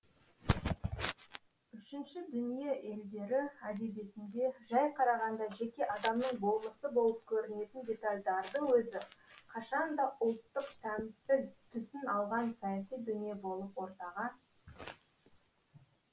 үшінші дүние елдері әдебиетінде жай қарағанда жеке адамның болмысы болып көрінетін детальдардың өзі қашанда ұлттық тәмсіл түсін алған саяси дүние болып ортаға шығады